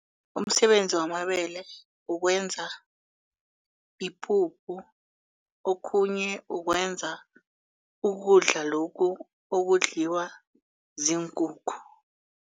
Umsebenzi wamabele ukwenza ipuphu okhunye ukwenza ukudla lokhu okudliwa ziinkukhu.